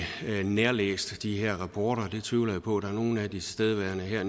nærlæst de her rapporter det tvivler jeg på at der er nogen af de tilstedeværende her